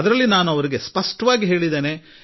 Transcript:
ಬಹಳ ವಿಚಾರ ವಿಮರ್ಶೆ ನಡೆಯಿತು